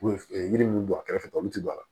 U ye yiri min bɔ a kɛrɛfɛ olu ti don a la